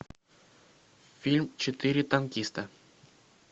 фильм четыре танкиста